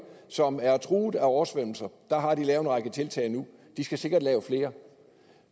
som er truet af oversvømmelser har de lavet en række tiltag nu de skal sikkert lave flere